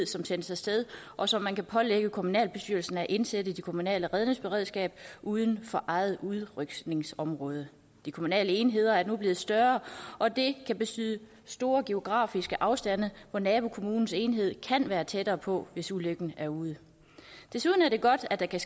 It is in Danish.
som sendes af sted og som man kan pålægge kommunalbestyrelsen at indsætte i det kommunale redningsberedskab uden for eget udrykningsområde det kommunale enheder er nu blevet større og det kan betyde store geografiske afstande så nabokommunens enhed kan være tættere på hvis ulykken er ude desuden er det godt at der kan